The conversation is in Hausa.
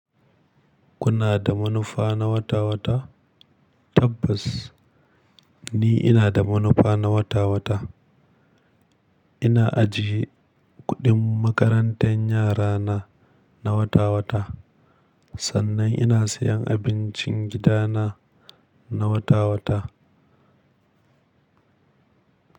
Kuna da manufa na wata-wata? Tabbas ni ina da manufa na wata-wata. Ina ajiye kuɗin makarantar yara na, na wata-wata. Sannan ina siyan abincin gidana na wata-wata.